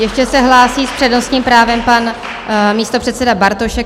Ještě se hlásí s přednostním právem pan místopředseda Bartošek.